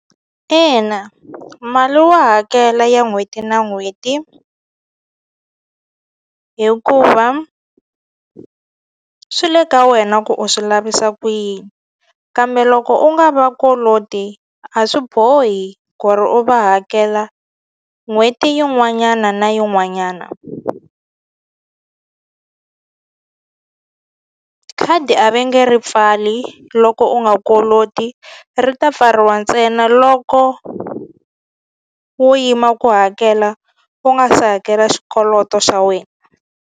Ina mali wa hakela ya n'hweti na n'hweti hikuva swi le ka wena ku u swi lavisa ku yini kambe loko u nga va koloti a swi bohi ku ri u va hakela n'hweti yin'wana na yin'wanyana khadi a va nge ri pfali loko u nga koloti ri ta pfariwa ntsena loko wo yima ku hakela u nga se hakela xikoloto xa wena.